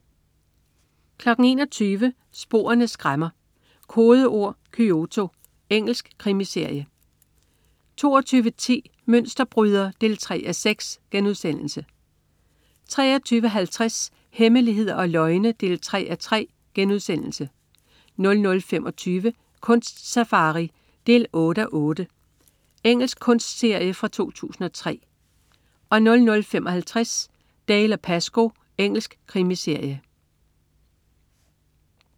21.00 Sporene skræmmer: Kodeord Kyoto. Engelsk krimiserie 22.10 Mønsterbryder 3:6* 23.50 Hemmeligheder og løgne 3:3* 00.25 Kunst-safari 8:8. Engelsk kunstserie fra 2003 00.55 Dalziel & Pascoe. Engelsk krimiserie